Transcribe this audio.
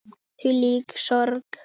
Þvílík sorg.